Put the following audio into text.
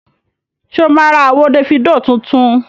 Ṣé o máa ra àwo Dèfídò tuntun?